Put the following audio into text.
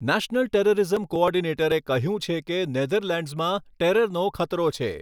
National terrorism કોઓર્ડિનેટરે કહ્યું છે કે નેધરલેન્ડ્સમાં ટેરરનો ખતરો છે.